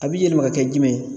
A bi yɛlɛma ka kɛ jumɛn ye